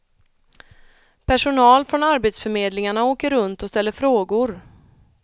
Personal från arbetsförmedlingarna åker runt och ställer frågor.